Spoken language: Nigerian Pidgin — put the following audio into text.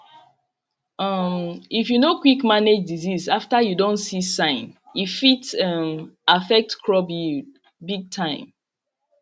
um if you no quick manage disease after you don see sign e fit um affect crop yied big time